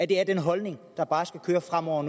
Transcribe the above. det er den holdning der bare skal køre fremover